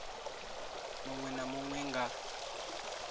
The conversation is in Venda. munwe na munwe na nga